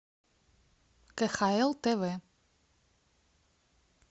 кхл тв